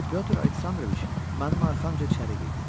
Pyotr Aleksandroviç mənim arxanca içəri girdi.